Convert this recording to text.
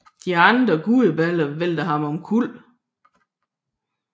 De andre gudebilleder væltede han omkuld